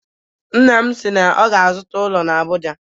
Nna m si na ọ ga-azụta ụlọ na Abuja